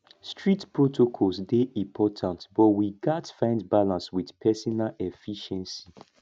strict protocols dey important but we gats find balance with personal efficiency